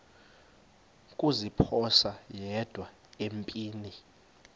kuziphosa yedwa empini